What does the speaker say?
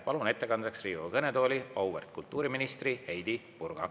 Palun ettekandeks Riigikogu kõnetooli auväärt kultuuriministri Heidy Purga.